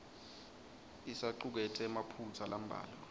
isacuketse emaphutsa lambalwa